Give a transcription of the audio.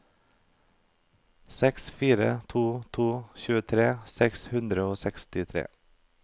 seks fire to to tjuetre seks hundre og sekstitre